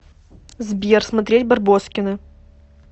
сбер смотреть барбоскины